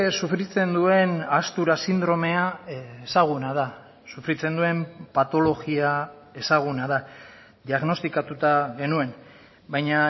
sufritzen duen ahaztura sindromea ezaguna da sufritzen duen patologia ezaguna da diagnostikatuta genuen baina